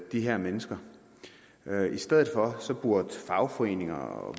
de her mennesker i stedet for burde fagforeninger og